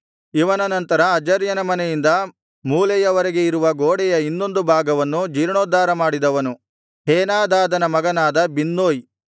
ಇವನ ನಂತರ ಅಜರ್ಯನ ಮನೆಯಿಂದ ಮೂಲೆಯವರೆಗೆ ಇರುವ ಗೋಡೆಯ ಇನ್ನೊಂದು ಭಾಗವನ್ನು ಜೀರ್ಣೋದ್ಧಾರ ಮಾಡಿದವನು ಹೇನಾದಾದನ ಮಗನಾದ ಬಿನ್ನೂಯ್